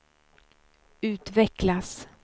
utvecklas